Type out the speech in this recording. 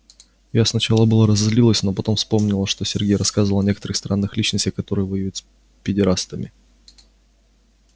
я сначала было разозлилась но потом вспомнила чего мне сергей рассказывал о некоторых странных личностях которые воюют с педерастами